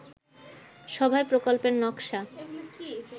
সভায় প্রকল্পের নকশা